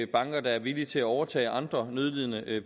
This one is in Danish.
banker der er villige til at overtage andre nødlidende